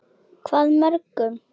Hvað mörgum?